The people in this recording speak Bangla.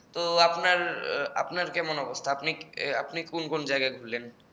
তো আপনার আপনার কেমন অবস্থা আপনি কোন কোন জায়গায় ঘুরলেন